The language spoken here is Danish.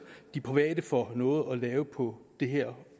de private får noget at lave på det her